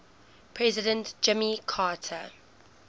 president jimmy carter